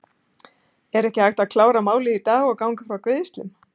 Er ekki hægt að klára málið í dag og ganga frá greiðslum?